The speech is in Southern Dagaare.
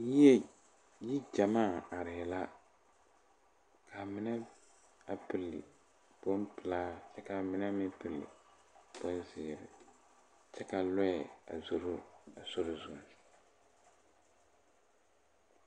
Yie yi gyamaa arɛɛ la kaa mine a pilli bon pelaa kyɛ kaa mine meŋ pilli bonzeere kyɛ ka lɔɛ a zoro a sori zu.